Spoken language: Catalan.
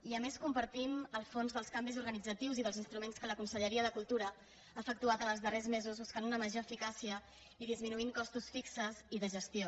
i a més compartim els fons dels canvis organitza·tius i dels instruments que la conselleria de cultura ha efectuat en els darrers mesos buscant una major eficà·cia i disminuint costos fixos i de gestió